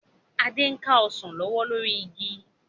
Adé ń ka Ọsàn lọ́wọ́ lórí igi